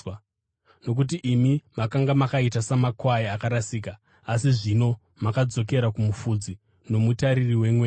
Nokuti imi makanga makaita samakwai akarasika, asi zvino madzokera kuMufudzi noMutariri wemweya yenyu.